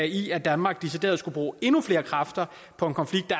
i at danmark decideret skulle bruge endnu flere kræfter på en konflikt